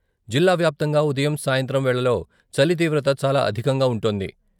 జిల్లా వ్యాప్తంగా ఉదయం సాయంత్రం వేళల్లో చలి తీవ్రత చాలా అధికంగా ఉంటోంది.